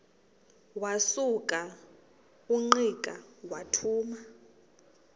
wasuka ungqika wathuma